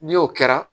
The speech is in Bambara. Ni o kɛra